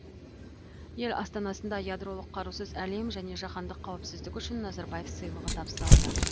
ел астанасында ядролық қарусыз әлем және жаһандық қауіпсіздік үшін назарбаев сыйлығы табысталды